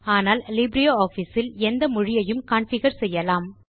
ஆனால் லிப்ரியாஃபிஸ் இல் எந்த மொழியையும் கான்ஃபிகர் செய்யலாம்